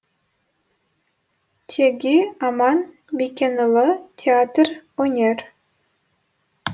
теги аман бекенұлы театр өнер